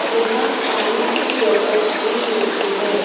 यहां पानी की बॉटल्स भी मिलती है।